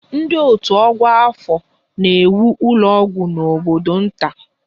Ndị otu ọkwa afọ na-ewu ụlọ ọgwụ n'obodo nta